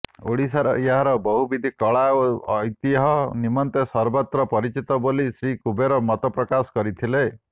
ଓଡ଼ିଶାର ଏହାର ବହୁବିଧ କଳା ଓ ଐତିହ୍ୟ ନିମନ୍ତେ ସର୍ବତ୍ର ପରିଚିତ ବୋଲି ଶ୍ରୀ କୁବେର ମତପ୍ରକାଶ କରିଥିଲେ